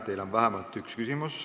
Teile on vähemalt üks küsimus.